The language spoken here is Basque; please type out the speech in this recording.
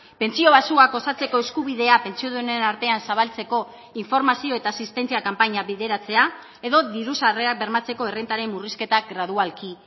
pentsio baxuak osatzeko eskubidea pentsiodunen artean zabaltzeko informazio eta asistentzia kanpaina bideratzea edo diru sarrerak bermatzeko errentaren murrizketak gradualki